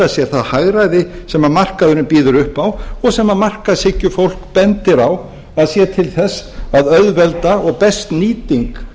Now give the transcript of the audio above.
sér það hagræði sem markaðurinn býður upp á og sem að markaðshyggjufólk bendir á að sé til þess að auðvelda og best nýting